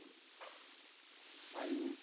আয়ুর?